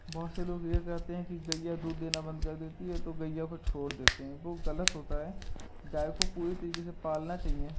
बहुत से लोग ये करते है की गइयाँ दूध देना बंद कर देती है तो गइयाँ को छोड़ देते है वो गलत होता है गाय को पूरी तरीके से पालना चाहिए।